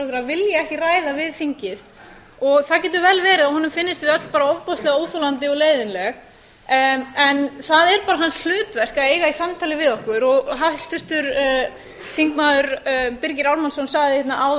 vilji ekki ræða við þingið það getur vel verið að honum finnist við öll bara ofboðslega óþolandi og leiðinleg en það er bara hans hlutverk að eiga í samtali við okkur hæstvirtur þingmaður birgir ármannsson sagði hérna á að